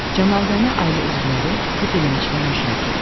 Cənazəni ailə üzvləri və dilənçilər müşayiət edirdi.